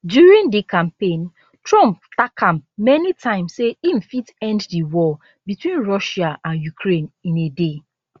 during di campaign trump tak am many times say im fit end di war between russia and ukraine in a day